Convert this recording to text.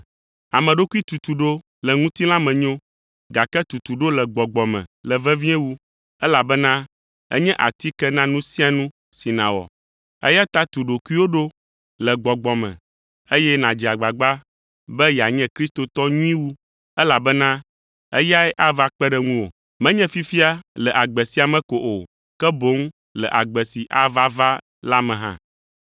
Ame ɖokui tutuɖo le ŋutilã me nyo, gake tutuɖo le gbɔgbɔ me le vevie wu, elabena enye atike na nu sia nu si nàwɔ. Eya ta tu ɖokuiwò ɖo le gbɔgbɔ me, eye nàdze agbagba be yeanye kristotɔ nyui wu, elabena eyae ava kpe ɖe ŋuwò. Menye fifia le agbe sia me ko o, ke boŋ le agbe si ava va la me hã.